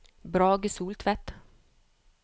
Brage Soltvedt